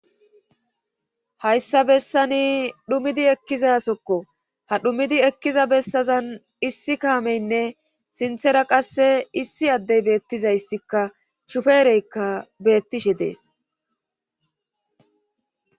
hayssa bessani dhumidi ekkizasokko ha dhumidi ekkiza bessazan issi kaameynne sinthera qasse issi addey beettizayssikka shufeereykka beettishe dees